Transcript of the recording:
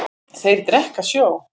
Þeir drekka sjó.